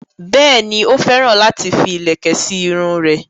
Bẹ́ẹ̀ni, ó féràn láti fi ìlẹ̀kẹ̀ sí irun rẹ̀